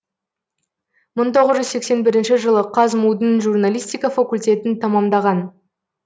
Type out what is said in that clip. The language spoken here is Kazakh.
мың тоғыз жүз сексен бірінші жылы қазму дің журналистика факультетін тамамдаған